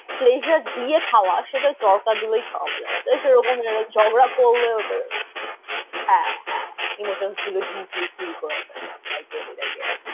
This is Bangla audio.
Pleasure দিয়ে খাওয়া সেটা ওই তড়কা দিয়েই খাওয়া যায় তাই সেরকম ঝগড়া করলেও তো, হ্যাঁ হ্যাঁ emotions গুলো deeply feel করা যায়। I got it, I got it